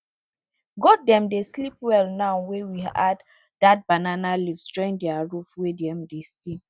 goat dem dey sleep well now wey we add that banana leaves join their roof wey dem dey stay